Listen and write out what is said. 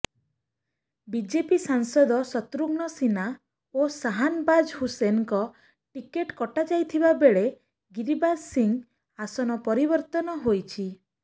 BJP ସାଂସଦ ଶତ୍ରୁଘ୍ନ ସିହ୍ନା ଓ ଶାହାନବାଜ ହୁସେନ୍ଙ୍କ ଟିକେଟ୍ କଟାଯାଇଥିବାବେଳେ ଗିରିରାଜ ସିଂହ ଆସନ ପରିବର୍ତ୍ତନ ହୋଇଛି